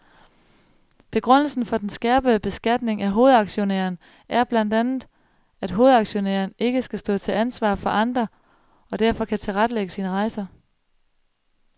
Begrundelsen for den skærpede beskatning af hovedaktionæren er blandt andet, at hovedaktionæren ikke skal stå til ansvar for andre og derfor kan tilrettelægge sine rejser.